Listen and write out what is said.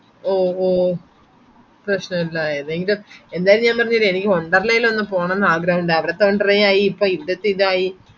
O ഹോ പ്രഷനുള്ള ഏതെൻകെ എന്തായാലും ഞാൻ പറഞ്ഞില്ലേ എനിക്കൊന്നു വണ്ടര്ലായിലെന്നോ പോണം ആഗ്രഹം ഇണ്ടായിരുന്ന അവിടത്തെ വണ്ടറായി യിപ്പി ഇവ്ദത്തെ ഇതായി